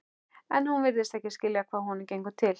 En hún virðist ekki skilja hvað honum gengur til.